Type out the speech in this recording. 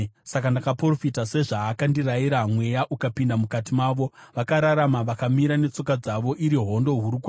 Saka ndakaprofita sezvaakandirayira, mweya ukapinda mukati mavo; vakararama vakamira netsoka dzavo, iri hondo huru kwazvo.